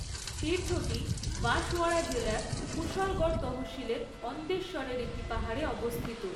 তীর্থটি বাঁশওয়ারা জেলার কুশলগড় তহসিলের অন্দেশ্বরের একটি পাহাড়ে অবস্থিত।